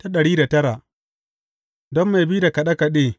Don mai bi da kaɗe kaɗe.